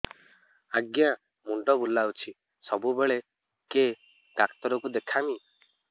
ଆଜ୍ଞା ମୁଣ୍ଡ ବୁଲାଉଛି ସବୁବେଳେ କେ ଡାକ୍ତର କୁ ଦେଖାମି